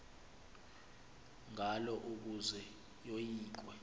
ngalo ukuze yoyikwe